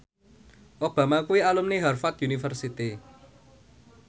Obama kuwi alumni Harvard university